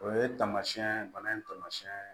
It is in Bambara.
O ye tamasiyɛn bana in tamasiyɛn